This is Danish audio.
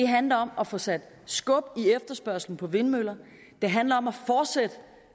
handler om at få sat skub i efterspørgslen på vindmøller det handler om